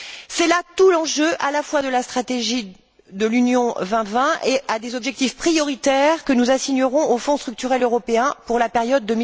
C'est là tout l'enjeu à la fois de la stratégie de l'UE 2020 et des objectifs prioritaires que nous assignerons aux Fonds structurels européens pour la période